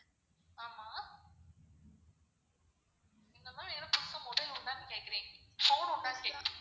ஆமா என்னமா ஏதோ புதுசா mobile உண்டானு கேக்குறீங்க. phone உண்டானு கேக்குறீங்க.